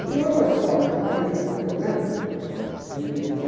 E tem outra história, aquela era uma região muito violenta. Ih...